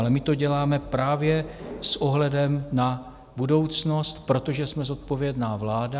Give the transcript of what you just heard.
Ale my to děláme právě s ohledem na budoucnost, protože jsme zodpovědná vláda.